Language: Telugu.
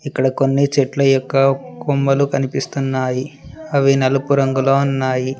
ఇక్కడ కొన్ని చెట్ల యొక్క కొమ్మలు కనిపిస్తున్నాయి అవి నలుపు రంగులో ఉన్నాయి.